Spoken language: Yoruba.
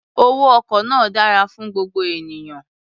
Owó ọkọ̀ náà dára fún gbogbo ènìyàn.